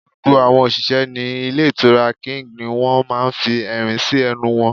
Gbogbo àwọn òṣìṣẹ́ ní Ilé Ìtura King ni wọ́n máa fi ẹ̀rín sí ẹnu wọn